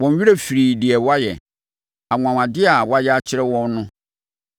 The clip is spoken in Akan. Wɔn werɛ firii deɛ wayɛ, anwanwadeɛ a wayɛ akyerɛ wɔn no.